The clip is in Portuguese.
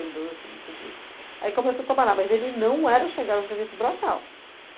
e dois para oitenta e três. Aí começou a trabalhar, mas ele não era chegado a serviço braçal.